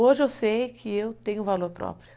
Hoje eu sei que eu tenho valor próprio.